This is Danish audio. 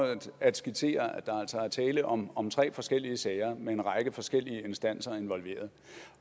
at skitsere at der altså er tale om om tre forskellige sager med en række forskellige instanser involveret